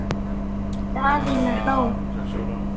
Daðína hló.